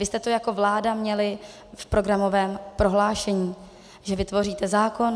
Vy jste to jako vláda měli v programovém prohlášení, že vytvoříte zákon.